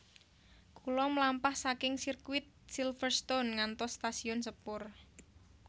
Kula mlampah saking sirkuit Silverstone ngantos stasiun sepur